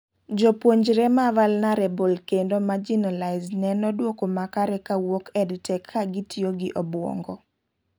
Jopuonjre ma vulnarable kedno marginalised neno duoko makare kawuok EdTech kagitiyo gi obuongo